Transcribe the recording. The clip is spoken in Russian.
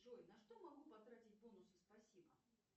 джой на что могу потратить бонусы спасибо